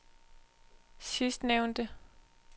sidstnævnte